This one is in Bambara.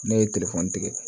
Ne ye tigɛ